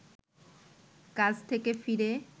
কাজ থেকে ফিরে